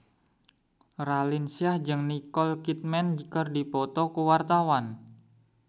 Raline Shah jeung Nicole Kidman keur dipoto ku wartawan